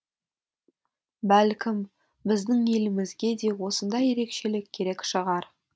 бәлкім біздің елімізге де осындай ерекшелік керек шығар